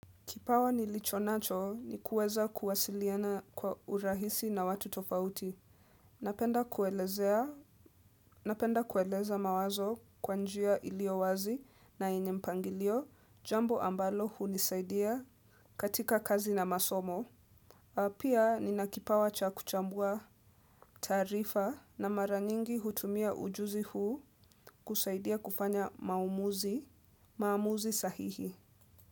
Kipawa nilicho nacho ni kueza kuwasiliana kwa urahisi na watu tofauti. Napenda kueleza mawazo kwa njia ilio wazi na yenye mpangilio, jambo ambalo hunisaidia katika kazi na masomo. Pia ni nakipawa cha kuchambua taarifa na mara nyingi hutumia ujuzi huu kusaidia kufanya maumuzi, maamuzi sahihi.